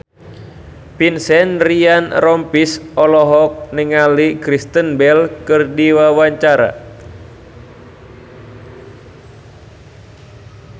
Vincent Ryan Rompies olohok ningali Kristen Bell keur diwawancara